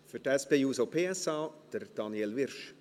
Für die SP-JUSO-PSA: Daniel Wyrsch.